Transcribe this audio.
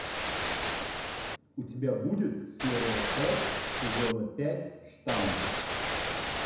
у тебя будет серия пять сезона пять штамм